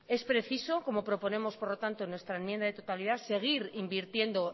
es preciso como proponemos por lo tanto en nuestra enmienda de totalidad seguir invirtiendo